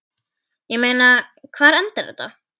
Ég meina, hvar endar þetta?